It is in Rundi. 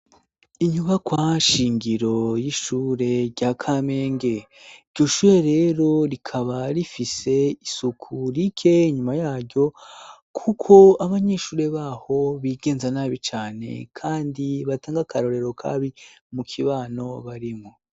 Inyubakwa shingiro y'ishure rya Kamenge. Iryo shure rero rikaba rifise isuku rike inyuma yaryo kuko abanyeshure baho bigenza nabi cane kandi batanga akarorero kabi mu kibano barimwo.